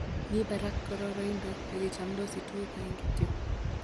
Mii barak kororonindo yon kichomdos tuguk oeng kityok.